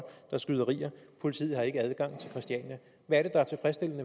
er skyderier politiet har ikke adgang til christiania